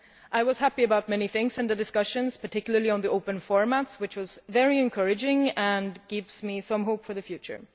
I was happy about many things in the discussions, particularly on the open formats, which were very encouraging and give me some hope for the future.